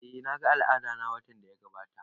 Eh na ga al'adana watan da ya gabata